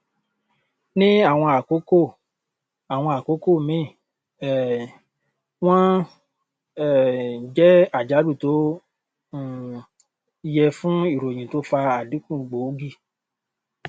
ní àwọn àkókò àwọn àkókò míì um wọn um jẹ àjálù tó um yẹ fún ìròyìn tó fa àdínkù gbòógì